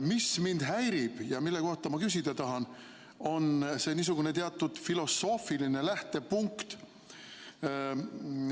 Mis mind häirib ja mille kohta ma küsida tahan, on see niisugune teatud filosoofiline lähtepunkt.